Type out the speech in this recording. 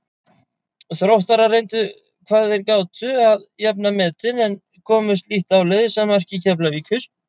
Þróttarar reyndu hvað þeir gátu að jafna metin en komust lítt áleiðis að marki Keflavíkur.